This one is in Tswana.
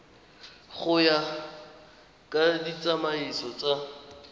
go ya ka ditsamaiso tsa